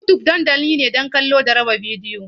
YouTube dandamali ne don kallo da raba bidiyo.